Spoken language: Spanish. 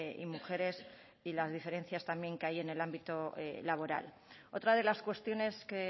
y mujeres y las diferencias también que hay en el ámbito laboral otra de las cuestiones que